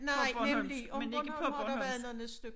På bornholmsk men ikke på bornholmsk